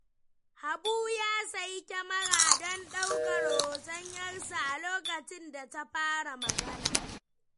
Habu ya sayi kyamara don ɗaukar hoton ‘yarsa a lokacin da ta fara magana.